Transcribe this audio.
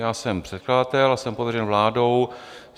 Já jsem předkladatel a jsem pověřen vládou.